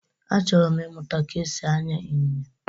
Achọrọ m ịmụta ka esi anya Ịnyịnya